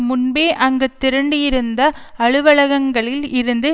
முன்பே அங்கு திரண்டிருந்த அலுவலகங்களில் இருந்து